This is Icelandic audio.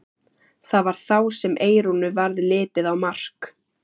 Það var þá sem Eyrúnu varð litið á Mark.